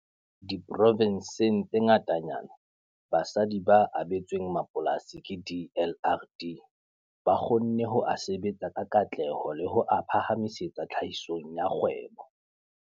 Diprovenseng tse ngatanyana, basadi ba abetsweng mapolasi ke DLRD ba kgonne ho a sebetsa ka katleho le ho a phahamisetsa tlhahisong ya kgwebo.